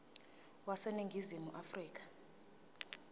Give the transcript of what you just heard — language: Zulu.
wase ningizimu afrika